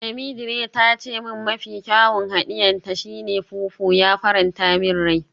Temidire ta ce min mafi kyawun hadiye ta shi ne fufu, ya faranta min rai.